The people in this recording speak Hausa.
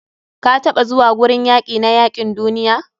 kataɓa zuwa gurin yaki na yakin duniya?